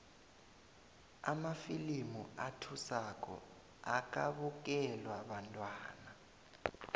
amafilimu athusako akabukelwa bantwana